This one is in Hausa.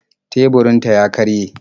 Teburinta ya karye